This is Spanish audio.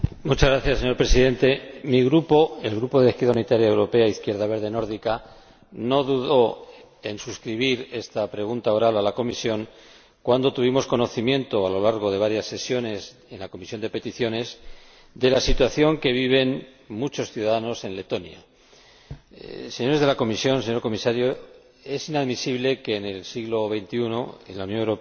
Señor Presidente, mi Grupo, el Grupo Confederal de la Izquierda Unitaria Europea Izquierda Verde Nórdica, no dudó en suscribir esta pregunta oral a la Comisión cuando tuvimos conocimiento, a lo largo de varias sesiones, en la Comisión de Peticiones, de la situación que viven muchos ciudadanos en Letonia. Señores de la Comisión, señor Comisario, es inadmisible que en el siglo XXI, en la Unión Europea,